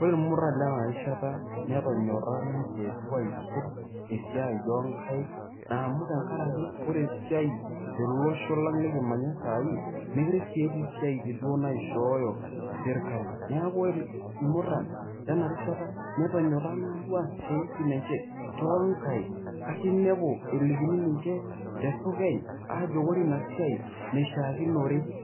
Ore irmuran Lena rishata nenyora duo ninche aisul esiaai oonkaink . Naa amu tenkaraki ore esiaai tele Osho likimanya sai mokire si etii isiatin naishooyo sirkali . Niaku ore irmuran lena rishata tenyora aas isiatin enche too nkaik .